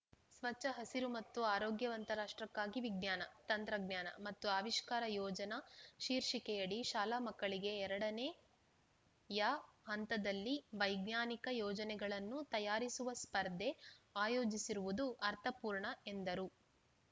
ಸ್ವಚ್ಛ ಹಸಿರು ಮತ್ತು ಆರೋಗ್ಯವಂತ ರಾಷ್ಟ್ರಕ್ಕಾಗಿ ವಿಜ್ಞಾನ ತಂತ್ರಜ್ಞಾನ ಮತ್ತು ಆವಿಷ್ಕಾರ ಯೋಜನಾ ಶೀರ್ಷಿಕೆಯಡಿ ಶಾಲಾಮಕ್ಕಳಿಗೆ ಎರಡನೆಯ ಹಂತದಲ್ಲಿ ವೈಜ್ಞಾನಿಕ ಯೋಜನೆಗಳನ್ನು ತಯಾರಿಸುವ ಸ್ಪರ್ಧೆ ಆಯೋಜಿಸಿರುವುದು ಅರ್ಥಪೂರ್ಣ ಎಂದರು